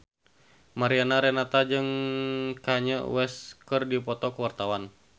Mariana Renata jeung Kanye West keur dipoto ku wartawan